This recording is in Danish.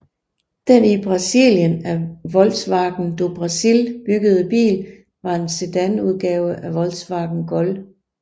Den i Brasilien af Volkswagen do Brasil byggede bil var en sedanudgave af Volkswagen Gol